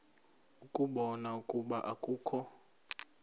ukubona ukuba akukho